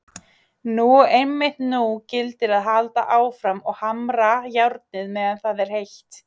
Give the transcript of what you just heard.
Nú og einmitt nú gildir að halda áfram og hamra járnið meðan það er heitt.